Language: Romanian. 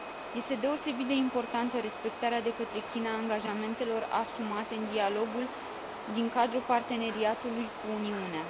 Este deosebit de importantă respectarea de către China a angajamentelor asumate în dialogul din cadrul Parteneriatului cu Uniunea.